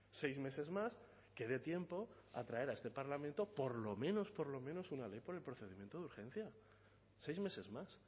seis meses más que dé tiempo a traer a este parlamento por lo menos por lo menos una ley por el procedimiento de urgencia seis meses más